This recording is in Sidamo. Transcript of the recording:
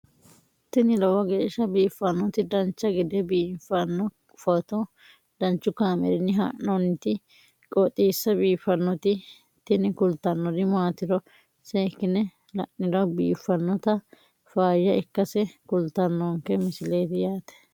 tini lowo geeshsha biiffannoti dancha gede biiffanno footo danchu kaameerinni haa'noonniti qooxeessa biiffannoti tini kultannori maatiro seekkine la'niro biiffannota faayya ikkase kultannoke misileeti yaate